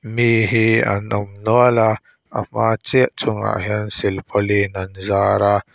mi hi an awm nual a a hmah chiah chungah hian silpawlin an zara.